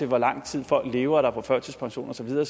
hvor lang tid folk lever og er på førtidspension og så videre